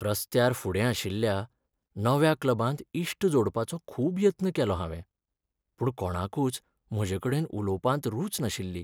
रस्त्यार फुडें आशिल्ल्या नव्या क्लबांत इश्ट जोडपाचो खूब यत्न केलो हांवें, पूण कोणाकूच म्हजेकडेन उलोवपांत रूच नाशिल्ली.